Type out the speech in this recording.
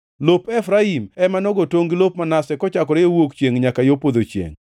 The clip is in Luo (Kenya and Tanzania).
Lop Efraim ema nogo tongʼ gi lop Manase, kochakore yo wuok chiengʼ nyaka yo podho chiengʼ.